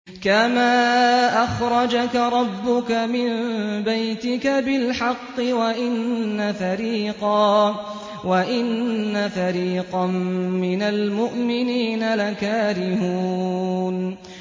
كَمَا أَخْرَجَكَ رَبُّكَ مِن بَيْتِكَ بِالْحَقِّ وَإِنَّ فَرِيقًا مِّنَ الْمُؤْمِنِينَ لَكَارِهُونَ